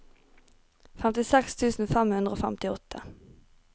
femtiseks tusen fem hundre og femtiåtte